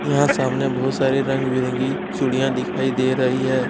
यहाँ सामने बहुत सारी रंग बिरगी चुड़ीया दिखाई दे रही है।